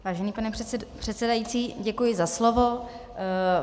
Vážený pane předsedající, děkuji za slovo.